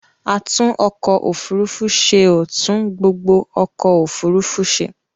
Atúnọkọ-òfurufú ṣe ò tún gbogbo ọkọ̀òfurufú ṣe.